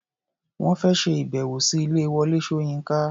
Wọ́n fẹ́ ṣe ìbẹ̀wò sí ilé Wọlé Ṣóyínká.